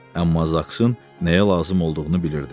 Amma zaksın nəyə lazım olduğunu bilirdi.